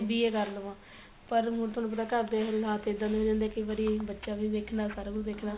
B.A ਕਰ ਲਵਾਂ ਪਰ ਹੁਣ ਤੁਹਾਨੂੰ ਪਤਾ ਘਰ ਦੇ ਹਾਲਾਤ ਇਹਦਾ ਦੇ ਹੋ ਜਾਂਦੇ ਏ ਕਈ ਵਾਰੀ ਬੱਚਾ ਵੀ ਵੇਖਣਾ ਸਾਰਾ ਕੁੱਝ ਵੇਖਣਾ